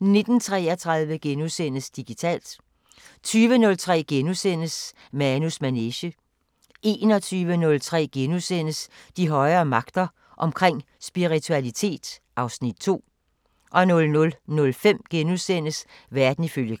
19:33: Digitalt * 20:03: Manus Manege * 21:03: De højere magter: Omkring spiritualitet (Afs. 2)* 00:05: Verden ifølge Gram *